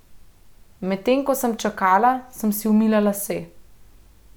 Medtem ko sem čakala, sem si umila lase.